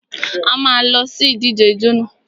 A má a lọ sí ìdíje ijó nà.